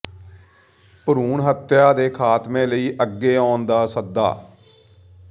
ਭਰੂਣ ਹੱਤਿਆ ਦੇ ਖ਼ਾਤਮੇ ਲਈ ਅੱਗੇ ਆਉਣ ਦਾ ਸੱਦਾ